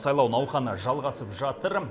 сайлау науқаны жалғасып жатыр